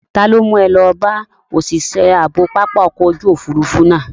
Ta ló mú ẹ lọ bá òṣìṣẹ́ ààbò pápá ọkọ̀ ojú òfuurufú náà?